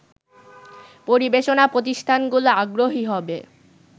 পরিবেশনা প্রতিষ্ঠানগুলো আগ্রহী হবে